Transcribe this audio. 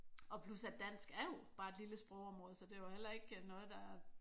Og plus at dansk er jo bare et lille sprogområde så det er jo heller ikke noget der